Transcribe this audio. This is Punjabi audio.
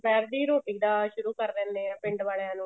ਦੁਪਹਿਰ ਦੀ ਰੋਟੀ ਦਾ ਸ਼ੁਰੂ ਕਰ ਦਿੰਨੇ ਆ ਪਿੰਡ ਵਾਲਿਆਂ ਨੂੰ